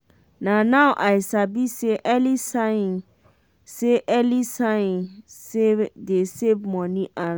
now i sabi say early sighing say early sighing dey save money and lives.